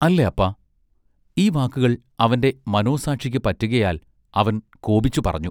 അല്ലേ അപ്പാ, ഈ വാക്കുകൾ അവന്റെ മനോസാക്ഷിക്ക് പറ്റുകയാൽ അവൻ കോപിച്ചു പറഞ്ഞു.